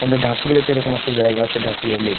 আমাদের ঢাকুরিয়াতে এরকম একটা জায়গা আছে ঢাকুরিয়া লেক ।